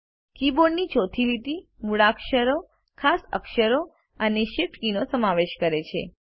કીબોર્ડની ચોથી લીટી મૂળાક્ષરો ખાસ અક્ષરો અને શિફ્ટ કીનો સમાવેશ કરે છે